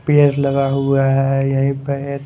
पेड़ लगा हुआ है यहीं पे एक--